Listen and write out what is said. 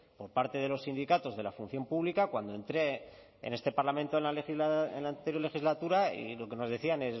por parte de los sindicatos de la función pública cuando entré en este parlamento en la anterior legislatura y lo que nos decían